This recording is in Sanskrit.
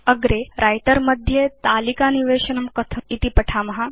अग्रे व्रिटर मध्ये तालिकानिवेशनं कथम् इति वयं पठेम